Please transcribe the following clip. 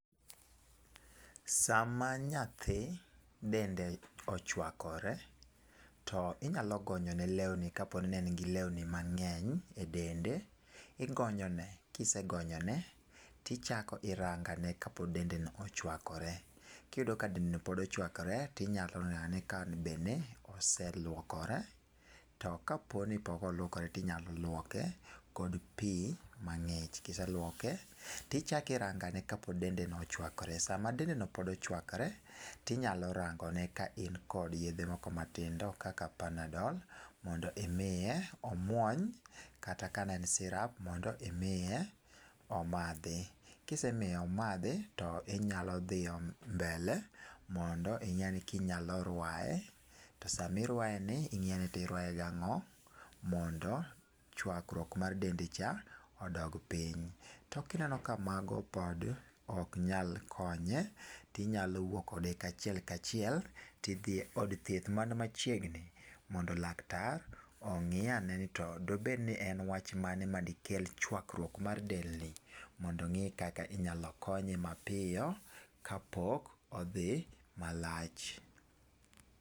Sama nyathi dende ochuakre to inyalo gonyone lewni kane en gi lewni mang'eny e dende. Igonyone, kisegonyone to ichako irango ane ka pod dende ochuakre. Kapod dende ochuakore to inyalo ng'iyo ane ka osee luokore, kapok oluokore to inyalo luoke kod pi mang'ich. Kise luoke to ichako irango ane kapo ni dende pod ochuakore. Kapod dende ochuakore to inyalo rango ane ka in kod yedhe moko matindo kaka panadol, mondo imiye omuony, kata kata ka ne en sirap mondo imiye omadhi. Kisemiye omadhi to inyalo dhi mbele mondo ine kinyalo ruaye to sama iruayeni to ing'i ni iruaye gang'o mondo chuakruok mar dende cha odog piny. To ka ineno ni mago bende ok nyal konye, to iwuok kode kachiel kachiel to idhi kode e od thieth man machiegni mondo laktar ong'i ane ni to dobed wach mane madikel wach chuakruok mar del mondo ong'e kaka inyalo konye mapiyo kapok odhi malach.